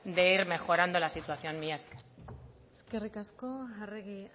de ir mejorando la situación mila esker eskerrik asko arregi